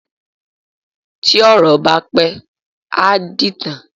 Tí ọ̀rọ̀ bá pẹ́, á dìtàn.